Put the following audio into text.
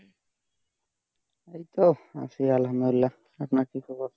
এই তো আছি আলহামদুলিল্লাহ, আপনার কি খবর?